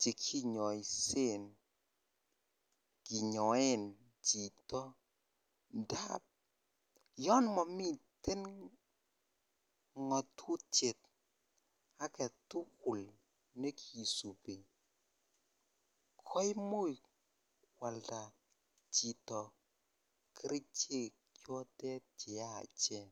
chekinyoisen kinyoen chito ndab yoon momiten ngotutiet aketukul nekisubi koimuch kwalda chito kerichek chotet cheyachen.